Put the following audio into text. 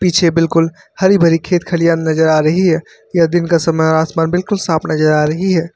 पीछे बिल्कुल हरी भरी खेत खलियान नजर आ रही है यह दिन का समय और आसमान बिल्कुल साफ नजर आ रही है।